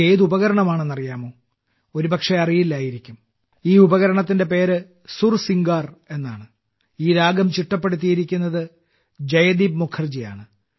ഇത് ഏത് ഉപകരണമാണെന്ന് അറിയാമോ ഒരു പക്ഷെ അറിയില്ലായിരിക്കാം ഈ ഉപകരണത്തിന്റെ പേര് സുർസിംഗാർ എന്നാണ് ഈ രാഗം ചിട്ടപ്പെടുത്തിയിരിക്കുന്നത് ജയദീപ് മുഖർജിയാണ്